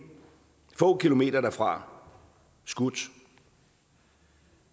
få kilometer derfra skudt